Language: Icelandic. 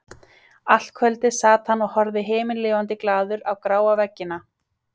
Allt kvöldið sat hann og horfði himinlifandi glaður á gráa veggina.